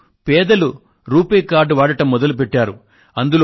ఇప్పుడు పేదలు RuPay card వాడడం మొదలుపెట్టారు